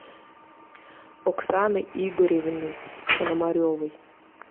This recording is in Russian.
оксаны игоревны пономаревой